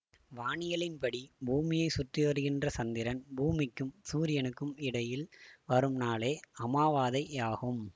வானியலின்படி பூமியை சுற்றிவருகின்ற சந்திரன் பூமிக்கும் சூரியனுக்கும் இடையில் வரும் நாளே அமைவாதை யாகும்